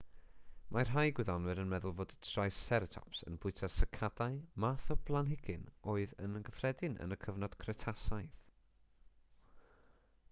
mae rhai gwyddonwyr yn meddwl bod triceratops yn bwyta sycadau math o blanhigyn oedd yn gyffredin yn y cyfnod cretasaidd